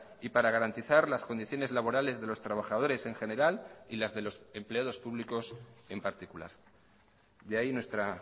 y para garantizar las condiciones laborales de los trabajadores en general y las de los empleados públicos en particular de ahí nuestra